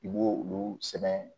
I b'o olu sɛbɛn